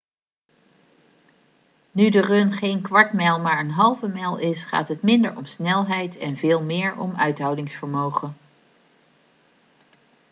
nu de run geen kwart mijl maar een halve mijl is gaat het minder om snelheid en veel meer om uithoudingsvermogen